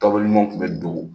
ɲuman tun bɛ dogo.